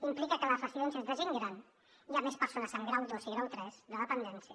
implica que a les residències de gent gran hi ha més persones amb grau ii i grau iii de dependència